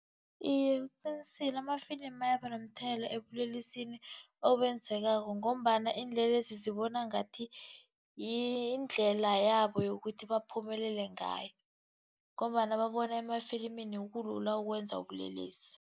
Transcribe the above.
Iye, uqinisile amafilimu ayaba nomthelela ebulelesini obenzekako, ngombana iinlelesi zibona ngathi yindlela yabo yokuthi baphumelele ngayo, ngombana babona emafilimini kulula ukwenza ubulelesi.